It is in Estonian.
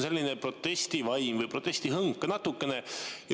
Sellist protestivaimu või protestihõngu on siin natukene.